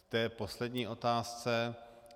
K té poslední otázce.